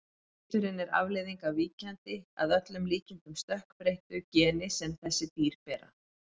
Liturinn er afleiðing af víkjandi, að öllum líkindum stökkbreyttu, geni sem þessi dýr bera.